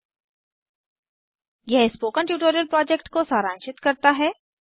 httpspoken tutorialorgWhat is a Spoken Tutorial यह spoken tutorial project को सारांशित करता है